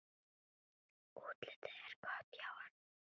Útlitið er gott hjá honum.